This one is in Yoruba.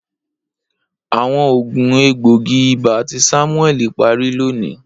Awọn oogun egboogi-iba ti Samueli pari loni.